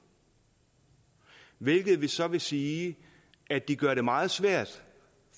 hvilket så vil sige at de gør det meget svært